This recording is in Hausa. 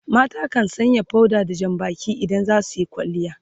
mata kan Sanya powder da Jan Baki idan za suyi kwalliya